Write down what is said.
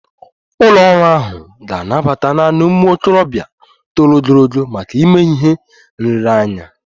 Ụlọ ọrụ ahụ ga-anabata naanị ụmụ okorobịa toro ogologo maka ịme ihe nlereanya